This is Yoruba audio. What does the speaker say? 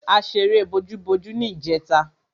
A ṣeré bojúbojú ní ìjẹta.